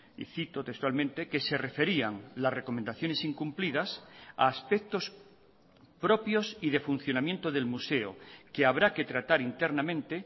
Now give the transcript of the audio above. y cito textualmente que se referían las recomendaciones incumplidas a aspectos propios y de funcionamiento del museo que habrá que tratar internamente